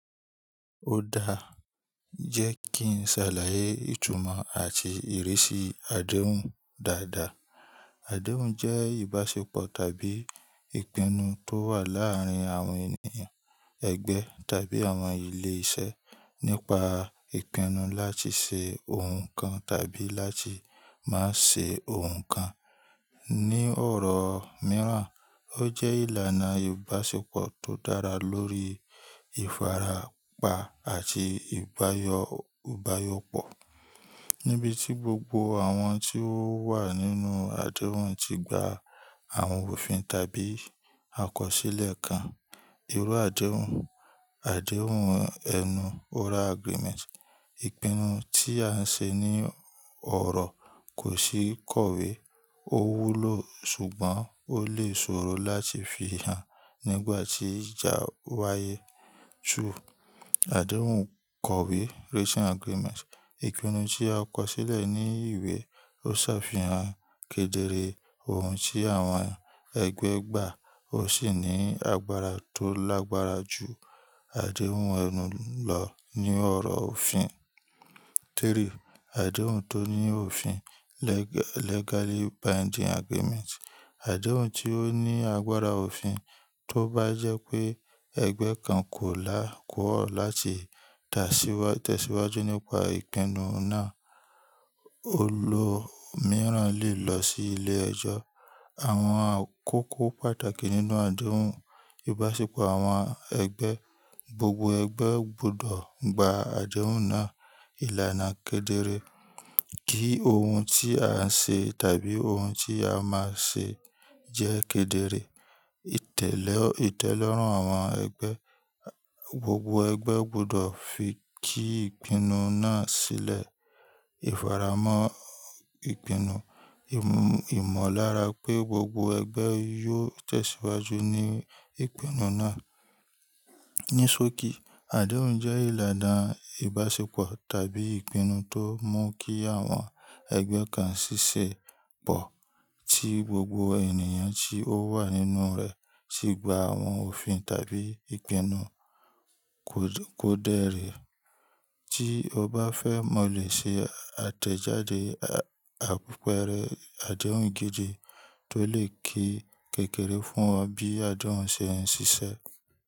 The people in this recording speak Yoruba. Ó dáa, jẹ́ kí n ṣàlàyé ìtumọ̀ àti ìrísí adéhùn dáadáa. Adéhùn jẹ́ ìbáṣepọ̀ tàbí ìpinnu tó wà láàárín àwọn ènìyàn, ẹgbẹ́ tàbí àwọn ilé-iṣẹ́ nípa ìpinnu láti ṣe ohun kan tàbí láti má ṣe ohun kan. Ni ọ̀rọ̀ mìíràn, ó jẹ́ ìlànà ìbáṣepọ̀ tó dára lórí ìfarapa àti ìbáyọ ìbáyọpọ̀ níbi tí gbogbo àwọn tí ó wà nínú adéhùn ti gba àwọn òfin tàbí àkọsílẹ̀ kan. Irú adéhùn: Adéhùn ẹnu oral agreement Ìpinnu tí à ń ṣe ní ọ̀rọ̀ kò sí kọ̀wé. Ó wúlò ṣùgbọ́n ó lè ṣòro láti fi hàn nígbà tí ìjà wáyé. 2. Adéhùn kọ̀wé risin agreement Ìpinnu tí a kọsílẹ̀ ní ìwé. Ó ṣàfihàn kedere ohun tí àwọn ẹgbẹ́ gbà ó sì ní agbára tó lágbára ju adéhùn ẹnu lọ ní ọ̀rọ̀ òfin. 3. Adéhùn tó ní òfin legal legally binding agreeent Adéhùn tí ó ní agbára òfin. Tó bá jẹ́ pé ẹgbẹ́ kan kò lá kọọ̀ láti ta tẹ̀síwájú nípa ìpinnu náà, olóòmiíràn lè lọ sí ilé ẹjọ́. Àwọn àkókò pàtàkì nínú adéhùn: Ìbáṣepọ̀ àwọn ẹgbẹ́: Gbogbo ẹgbẹ́ gbọdọ̀ gba adéhùn náà. Ìlànà kedere: Kí ohun tí à ń ṣe tàbí ohun tí a máa ṣe jẹ́ kedere. Ìtẹ́lọ́rùn àwọn ẹgbẹ́: Gbogbo ẹgbẹ́ gbọdọ̀ fi kí ìpinnu náà sílẹ̀. Ìfaramọ́ ìpinnu: ìmọ̀lára pé gbogbo ẹgbẹ́ yóò tẹ̀síwájú ní ìpinnu náà. Ní sókí, adéhùn jẹ́ ìlànà ìbáṣepọ̀ tàbí ìpinnu tó mú kí àwọn ẹgbẹ́ kan ṣiṣẹ́ pọ̀ tí gbogbo ènìyàn tí ó wà nínú rẹ̀ si gba àwọn òfin tàbí ìpinnu ko kòdérè. Tí o bá fẹ́, mo lè ṣe àtẹ̀jáde a àpẹrẹ adéhùn gidi tó lè ké kékeré fún ọ bí adéhùn ṣe ń ṣiṣẹ́.